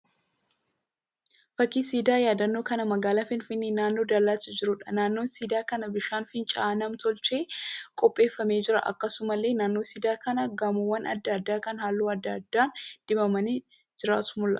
Fakkii siidaa yaadannoo kan magaalaa Finfinnee naannoo Daalattii jiruudha. Naannoo siidaa kanaa bishaan fincaa'aan nam-tochee qopheeffamee jira. Akkasumallee naannoo siidaa kanaa gamoowwan adda addaa kan halluu adda addaan dibamanii jirantu mul'ata.